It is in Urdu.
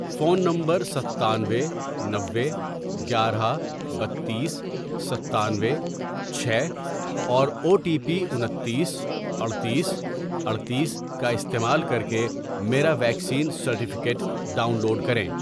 فون نمبرستانوے ،نوے، گیارہ، بتیس، ستانوے، چھ، اور او ٹی پی انتیس، اڈتیس، اڈتیس، کا استعمال کر کے میرا ویکسین سرٹیفکیٹ ڈاؤن لوڈ کریں۔